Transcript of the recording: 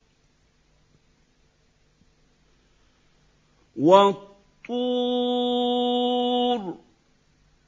وَالطُّورِ